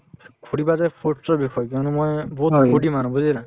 সুধিবা যে foods ৰ কিয়নো মই বহুত মানুহ বুজিলা